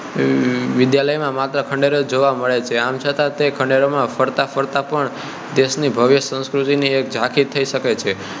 વિદ્યાલય નાં માત્ર ખંડેરો જ જોવા મળે છે આમ છતાં તે ખંડેરો માં ફરતા ફરતા પણ દેશ ની ભવ્ય સંસ્કૃતિ ની એક ઝાંખી થઈ શકે છે